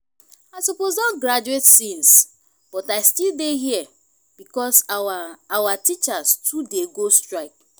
i suppose don graduate since but i still dey here because our our teachers too dey go strike